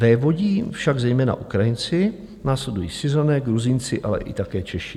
Vévodí však zejména Ukrajinci, následují Syřané, Gruzínci, ale i také Češi.